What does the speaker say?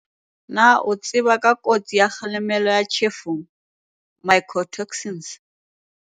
Na o a tseba ka kotsi ya kgahlamelo ya ditjhefo, mycotoxins?